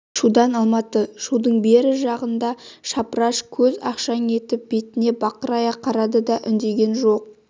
шудан алматы шудың бері жағында шапыраш көз ақшаң етіп бетіне бақырая қарады да үндеген жоқ